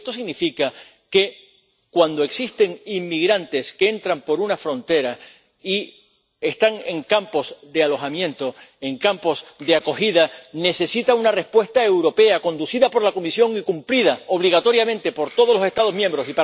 Y esto significa que cuando existen inmigrantes que entran por una frontera y están en campos de alojamiento, en campos de acogida, se necesita una respuesta europea, conducida por la Comisión y cumplida obligatoriamente por todos los Estados miembros.